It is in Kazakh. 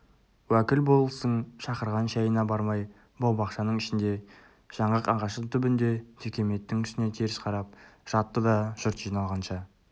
уәкіл болыстың шақырған шайына бармай бау-бақшаның ішінде жаңғақ ағаштың түбінде текеметтің үстіне теріс қарап жатты да жұрт жиналғанша